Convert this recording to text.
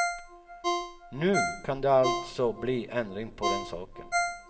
Nu kan det alltså bli ändring på den saken.